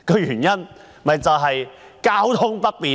原因是交通不便。